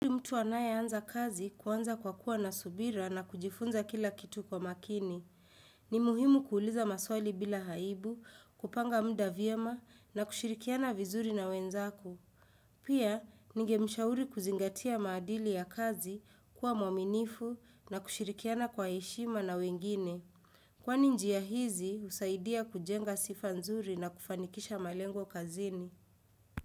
Yuli mtu anayeanza kazi kuwanza kwa kuwa nasubira na kujifunza kila kitu kwa makini. Ni muhimu kuuliza maswali bila haibu, kupanga muda vyema na kushirikiana vizuri na wenzako. Pia, ninge mshauri kuzingatia maadili ya kazi, kuwa mwaminifu na kushirikiana kwa heshima na wengine. Kwani njia hizi, husaidia kujenga sifa nzuri na kufanikisha malengo kazini.